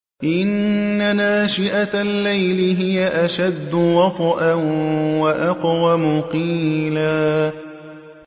إِنَّ نَاشِئَةَ اللَّيْلِ هِيَ أَشَدُّ وَطْئًا وَأَقْوَمُ قِيلًا